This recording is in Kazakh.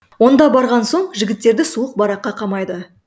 онда барған соң жігіттерді суық бараққа қамайды